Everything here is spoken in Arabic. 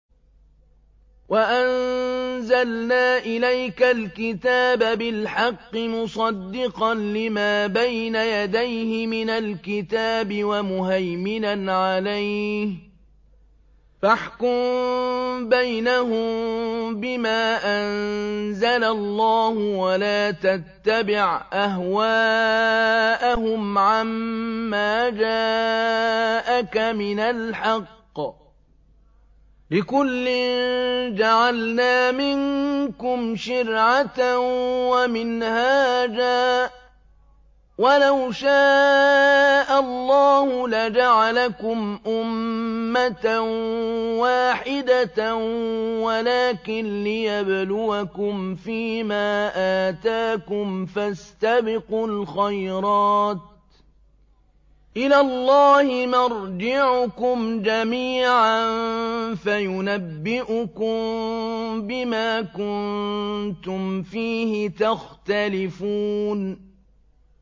وَأَنزَلْنَا إِلَيْكَ الْكِتَابَ بِالْحَقِّ مُصَدِّقًا لِّمَا بَيْنَ يَدَيْهِ مِنَ الْكِتَابِ وَمُهَيْمِنًا عَلَيْهِ ۖ فَاحْكُم بَيْنَهُم بِمَا أَنزَلَ اللَّهُ ۖ وَلَا تَتَّبِعْ أَهْوَاءَهُمْ عَمَّا جَاءَكَ مِنَ الْحَقِّ ۚ لِكُلٍّ جَعَلْنَا مِنكُمْ شِرْعَةً وَمِنْهَاجًا ۚ وَلَوْ شَاءَ اللَّهُ لَجَعَلَكُمْ أُمَّةً وَاحِدَةً وَلَٰكِن لِّيَبْلُوَكُمْ فِي مَا آتَاكُمْ ۖ فَاسْتَبِقُوا الْخَيْرَاتِ ۚ إِلَى اللَّهِ مَرْجِعُكُمْ جَمِيعًا فَيُنَبِّئُكُم بِمَا كُنتُمْ فِيهِ تَخْتَلِفُونَ